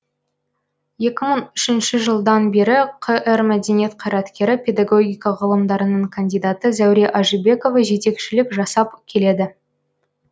екі мың үшінші жылдан бері қр мәдениет қайраткері педагогика ғылымдарының кандидаты зәуре ажибекова жетекшілік жасап келеді